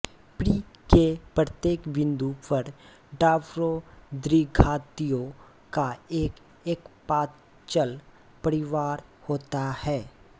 पृ के प्रत्येक बिंदु पर डार्बो द्विघातियों का एक एकप्राचल परिवार होता है